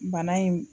Bana in